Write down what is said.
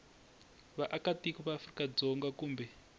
vaakatiko va afrika dzonga kumbe